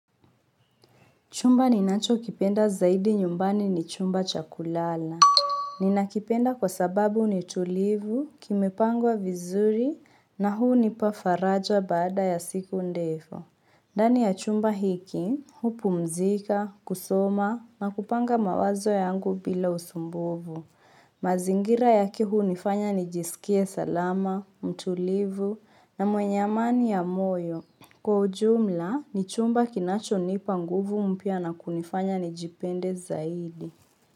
Chumba ninachokipenda zaidi nyumbani ni chumba cha kulala. Ninakipenda kwa sababu ni tulivu, kimepangwa vizuri, na hunipa faraja baada ya siku ndefu. Ndani ya chumba hiki, hupumzika, kusoma, na kupanga mawazo yangu bila usumbufu. Mazingira yake hunifanya nijisikie salama, mtulivu, na mwenye amani ya moyo. Kwa ujumla ni chumba kinachonipa nguvu mpya na kunifanya nijipende zaidi.